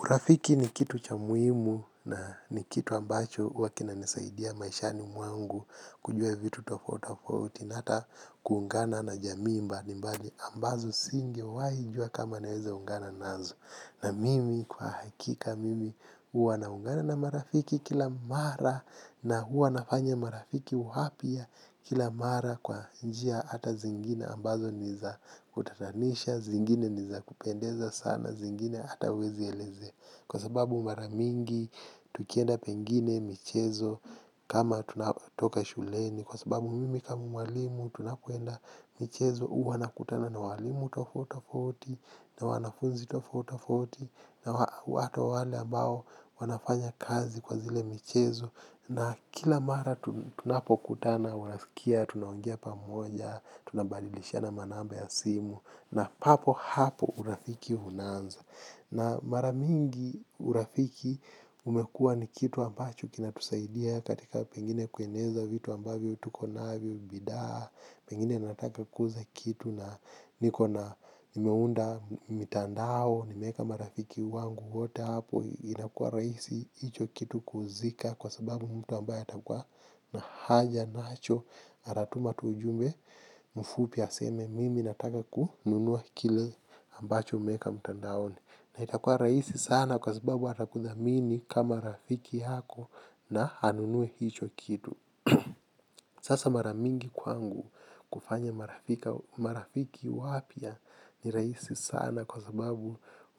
Urafiki ni kitu cha muhimu na ni kitu ambacho huwa kinanisaidia maishani mwangu kujua vitu tofauti tofauti na hata kuungana na jamii mbalimbali ambazo singewahi kujua kama ningeweza kuungana nazo. Na mimi kwa hakika mimi huwa naungana na marafiki kila mara na huwa nafanya marafiki wapya kila mara kwa njia hata zingine ambazo ni za kutatanisha, zingine ni za kupendeza sana, zingine ata huwezi kueleza. Kwa sababu mara mingi tukienda pengine michezo kama tunatoka shuleni kwa sababu mimi kama mtunakuenda michezo huwa nakutana na walimu tofauti tofauti na wanafunzi tofauti tofauti na watu wale ambao wana fanyakazi kwa zile michezo na kila mara tunapokutana unasikia tunaongea pamoja, tunabadilishana namba ya simu na papo hapo urafiki unaanza. Na mara mingi urafiki umekua ni kitu ambacho kinatusaidia katika pengine kueneza vitu ambavyo tulivyonavyo, bidhaa, pengine nataka kuuza kitu na niko nimeunda mitandao, nimeweka marafiki wangu wote hapo, inakua rahisi, hicho kitu kuuzika kwa sababu mtu ambaye atakuwa na haja nacho, atatuma tu ujumbe, kwa ufupi, aseme mimi nataka kununua kile ambacho umeweka mitandaoni. Na itakua rahisi sana kwa sababu atakudhamini kama rafiki yako na anunue hicho kitu. Sasa mara mingi kwangu kufanya marafiki wapya ni rahisi sana kwa sababu umekuwa ni kitu ambacho kinatusaidia katika pengine kueneza vitu ambavyo tulivyonavyo, bidhaa, pengine nataka kuuza kitu na nimeunda mitandao, nimeweka marafiki wangu wote hapo, inakuwa rahisi hicho kitu kuuzika kwa sababu mtu ambaye atakuwa hapo ndipo unaunda marafiki wengi sana alafu wakati mwingine wakati ambapo tumeenda pengine mafunzo ya ziada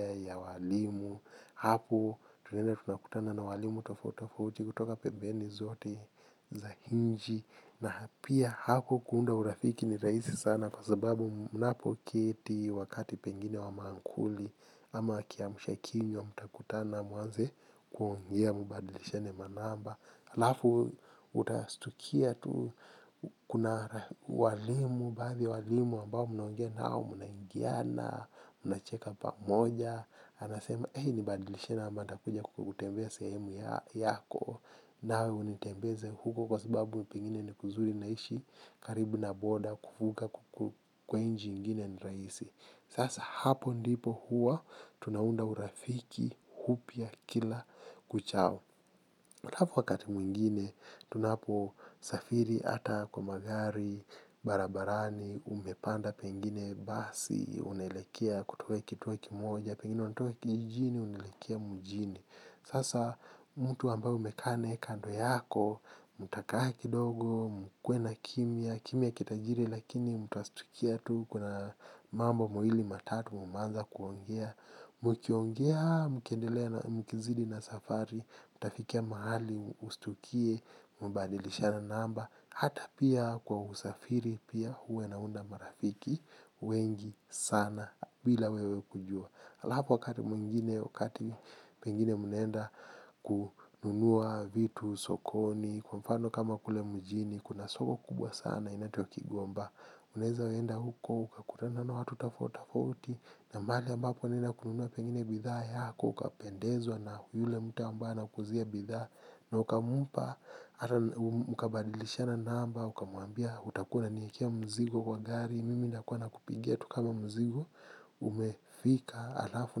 ya walimu hapo tunaenda tunakutana na walimu tofauti tofauti kutoka pembeni zote na pia hapo kuunda urafiki ni rahisi sana kwa sababu unapokaa wakati pengine wa maamkuli ama kiamshakinywa mtakutana muanze kuongea mubadilishane namba alafu utastukia tu kuna walimu, baadhi ya walimu ambao mnaongea nao mnaelewana, mnacheka pamoja, anasema eh nibadilisheni ama nitakuja kutembea sehemu yako nawe unitembeze huko kwa sababu pengine ni kuzuri naishi katika border kuvuka kwa nchi nyingine ni rahisi. Sasa hapo ndiyo tunaunda urafiki upya kila uchao alafu wakati mwingine, tunaposafiri hata kwa magari, barabarani, umepanda pengine basi, unaelekea kutoka kituo kimoja, pengine unatoka kijijini, unaelekea mjini. Sasa mtu ambaye umekaa naye kando yako, mtakaa kidogo, mkwe na kimia, kimia kitajiri lakini mtastukia tu kuna mambo mawili matatu mmeanza kuongea, mkiongea, mkendelea na mkizidi na safari, mtafikia mahali, ustukie, mkadilishana namba. Hata pia kwa usafiri pia huwa inaunda marafiki wengi sana bila wewe kujua. Alafu wakati mwingine, wakati pengine mnaenda kununua vitu sokoni, kwa mfano kama kule mjini, kuna soko kubwa sana linatiwa kikomba unaweza kwenda huko, ukakutana na watu tofauti tofauti na mahali ambapo unaenda kununua pengine bidhaa yako, ukapendezwa na yule mtu ambaye anakuuzia bidhaa. Na ukamupa, ama mkabadilishana namba, ukamwambia, utakuwa unaniekea mzigo kwa gari, mimi nitakuwa nakupigia tu kama mzigo, umefika, alafu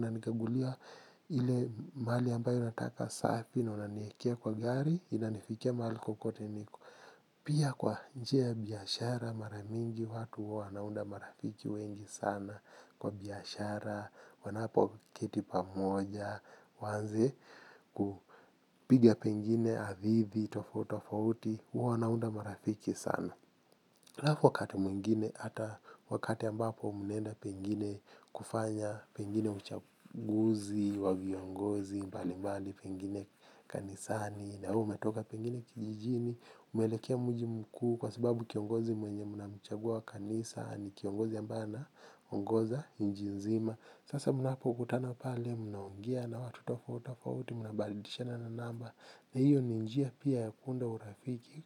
unanikagulia ili mali ambayo nataka safi unaniekea kwa gari, inanifikia mahali popote niko. Pia kwa njia ya biashara mara nyingi watu wanaunda marafiki wengi sana kwa biashara, wanapo keti pamoja, waanze kupiga pengine hadithi, tofauti tofauti, wanaunda marafiki sana. Alafu wakati mwingine ata wakati ambapo mmeenda pengine kufanya, pengine uchaguzi, wa viongozi, mbalimbali pengine kanisani, na umetoka pengine kijijini, umeelekea mji mkuu kwa sababu kiongozi mwenye mnamchagua kanisani ni kiongozi ambaye ameongoza nchi nzima. Sasa mnapokutana pale mnaongea na watu tofauti tofauti mnabadilishana namba na hiyo ni njia pia ya kuunda urafiki.